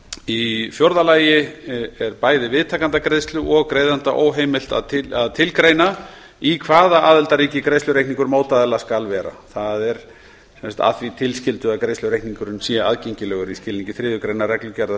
í fjórða lagi er bæði viðtakanda greiðslu og greiðanda er óheimilt að tilgreina í hvaða aðildarríki greiðslureikningur mótaðila skal vera að því tilskildu að greiðslureikningurinn sé aðgengilegur í skilningi þriðju greinar reglugerðar